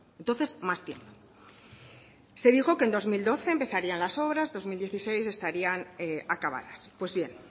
entonces más tiempo se dijo que en dos mil doce empezarían las obras dos mil dieciséis estarían acabadas pues bien